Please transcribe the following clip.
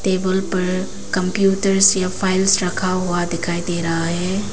Table पर computer safe files रखा हुआ दिखाई दे रहा है।